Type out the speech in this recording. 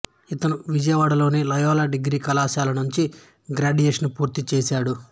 ఇతను విజయవాడలోని Loyola degree కళాశాల నుంచి గ్రాడ్యుయేషన్ పూర్తి చేశాడు